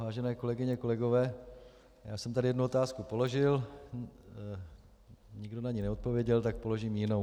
Vážené kolegyně, kolegové, já jsem tady jednu otázku položil, nikdo na ni neodpověděl, tak položím jinou.